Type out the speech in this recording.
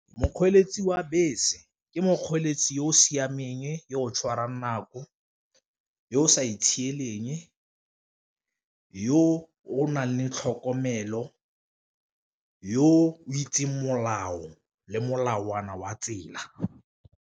Mokgweetsi wa bese ke mokgweetsi yo o siameng, yo o tshwara nako, yo o sa itshieleng, yo o nang le tlhokomelo, yo o itseng molao le molawana wa tsela.